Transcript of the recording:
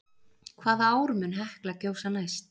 Hvaða ár mun Hekla gjósa næst?